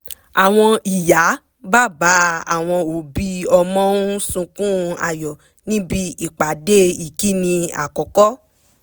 àwọn ìyá /bàbá àwọn òbí ọmọ ń sunkún ayọ̀ níbi ìpàdé ìkíni àkọ́kọ́